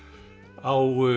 á